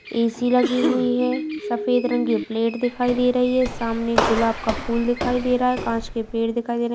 AC. लगी हुई है | सफ़ेद रंग की प्लेट दिखाई दे रही है | सामने गुलाब का फूल दिखाई दे रहा है | काँच के पेड़ दिखाई दे रहे हैं।